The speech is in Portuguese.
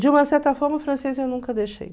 De uma certa forma, o francês eu nunca deixei.